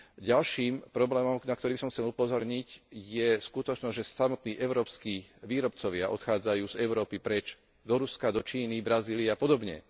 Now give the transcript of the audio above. Ďalším problémom, na ktorý by som chcel upozorniť, je skutočnosť, že samotný európski výrobcovia odchádzajú z Európy preč do Ruska, do Číny, Brazílie a podobne.